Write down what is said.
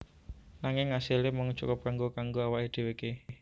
Nanging asile mung cukup kanggo kanggo awake dheweke